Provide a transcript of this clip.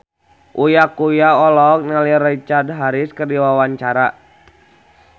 Uya Kuya olohok ningali Richard Harris keur diwawancara